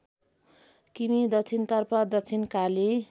किमि दक्षिणतर्फ दक्षिणकाली